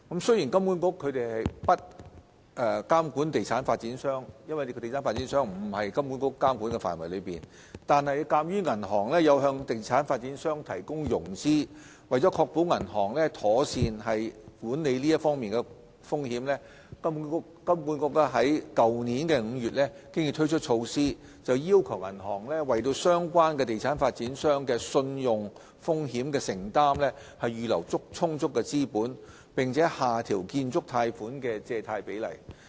由於地產發展商並不屬於金管局的監管範圍，金管局未能監管地產發展商，但鑒於銀行會向地產發展商提供融資，為了確保銀行妥善管理有關風險，金管局已在去年5月推出措施，要求銀行為相關地產發展商的信用風險承擔預留充足資本，並且下調建築貸款的借貸比例。